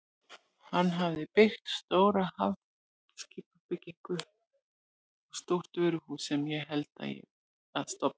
Hann hafði byggt stóra hafskipabryggju og stórt vöruhús sem ég held að standi enn.